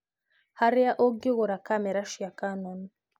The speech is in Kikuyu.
harĩa ũngĩgũra kamera cia Canon